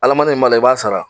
Alamandi min b'a la, i b'a sara.